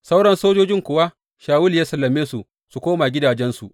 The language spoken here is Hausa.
Sauran sojojin kuwa Shawulu ya sallame su su koma gidajensu.